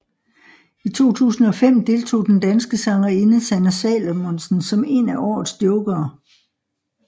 I 2005 deltog den danske sangerinde Sanne Salomonsen som en af året jokere